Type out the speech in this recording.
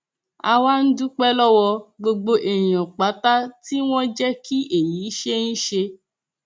a wá ń dúpẹ lọwọ gbogbo èèyàn pátá tí wọn jẹ kí èyí ṣeé ṣe